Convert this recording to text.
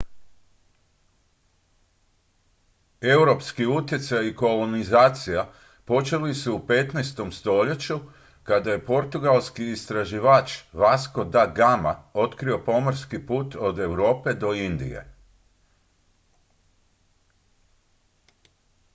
europski utjecaj i kolonizacija počeli su u 15. stoljeću kada je portugalski istraživač vasco da gama otkrio pomorski put od europe do indije